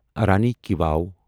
رانی ki واو